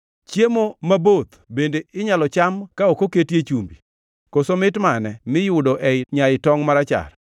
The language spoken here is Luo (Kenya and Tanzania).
Chiemo maboth bende inyalo cham ka ok oketie chumbi, koso mit mane miyudo ei nyai tongʼ marachar?